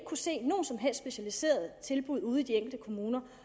kunne se nogen som helst specialiserede tilbud ude i de enkelte kommuner